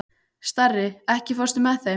Starri, ekki fórstu með þeim?